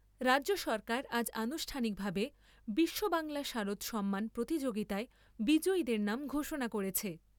রাজ্য সরকার আজকে আনুষ্ঠানিকভাবে 'বিশ্ববাংলা শারদ সম্মান' প্রতিযোগিতায় বিজয়ীদের নাম ঘোষণা করেছে।